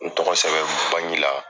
N tɔgɔ sɛbɛn bangi la.